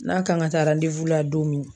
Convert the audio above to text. N'a kan ka taa la don min.